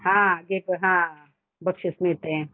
हा देता हा बक्षीस मिळतंय.